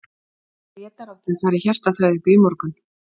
Grétar átti að fara í hjartaþræðingu í morgun.